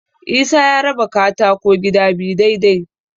Isa ya raba katako gida biyu dai-dai.